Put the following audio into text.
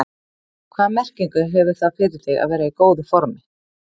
Hvaða merkingu hefur það fyrir þig að vera í góðu formi?